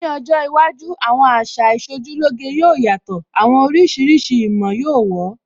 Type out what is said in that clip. Ní ọjọ́ iwájú, àwọn àṣà Ìṣojúlóge yóò yàtọ̀, àwọn oríṣiríṣi ìmọ̀ yóó wọ̀ ọ́